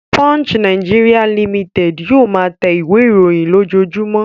Punch Nigeria Limited yóò máa tẹ ìwé-ìròyìn lójoojúmọ́.